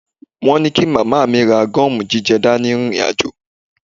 Wọ́n ní kí màmá mi ra gọ́ọ̀mù jíjẹ dání rìnrìn àjò